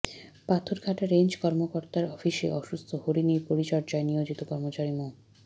Patharghata range কর্মকতার অফিসে অসুস্থ হরিণীর পরিচর্যায় নিয়োজিত কর্মচারি মো